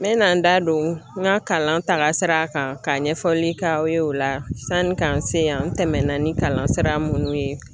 N bɛna n da don n ka kalan sira kan ka ɲɛfɔli k'aw ye o la sanni k'an se yan n tɛmɛna ni kalansira minnu ye